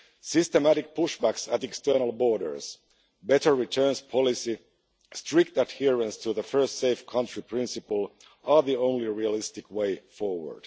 Systematic pushbacks at external borders, better returns policy and strict adherence to the first safe country principle are the only realistic way forward.